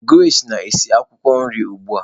Grace na-esi akwukwo nri ugbu a